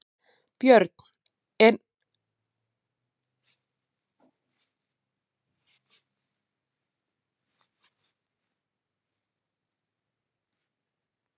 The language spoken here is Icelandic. Björn: En hún er ekki komin?